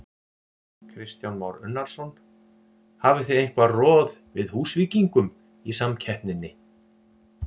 Kristján Már Unnarsson: Hafið þið eitthvað roð við Húsvíkingum í samkeppninni?